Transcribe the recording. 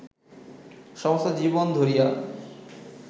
সমস্ত জীবন ধরিয়া